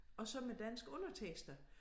Og så med danske undertekster